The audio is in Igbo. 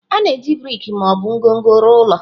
A na-eji brik ma ọ bụ ngọngọ rụọ ụlọ.